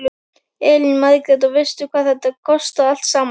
Elín Margrét: Og veistu hvað þetta kostar allt saman?